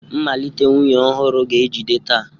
Mmalite nwunye ọhụrụ ga-ejide taa.